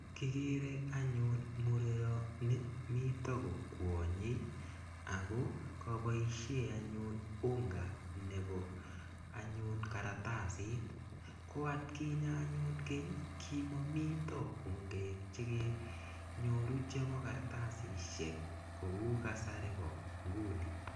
Kikeree anyun murenoni miten kokwonyee akoo koboishen anyun unga nebo anyun kartasit, ko atkinye anyun keny kimomiten ungek chekenyoru cheboo kartasishek kou kasari.